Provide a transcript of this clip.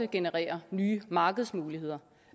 generere nye markedsmuligheder